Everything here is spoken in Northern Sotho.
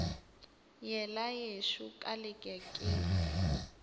yela yešo ka leke ke